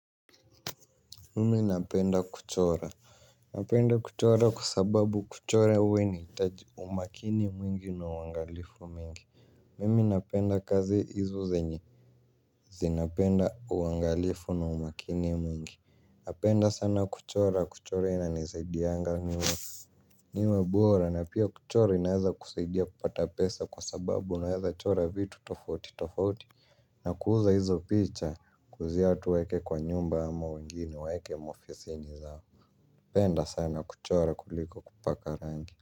Mimi napenda kuchora. Napenda kuchora kwa sababu kuchora huwa inahitaji umakini mwingi na uangalifu mwingi. Mimi napenda kazi hizo zenye zinapenda uangilifu na umakini m. Niwe bora na pia kuchora inaweza kusaidia kupata pesa kwa sababu naweza chora vitu tofauti tofauti. Na kuuza hizo picha kuuzia watu waweke kwa nyumba ama wengine waweke kwa ofisini zao. Napenda sana kuchora kuliko kupaka rangi.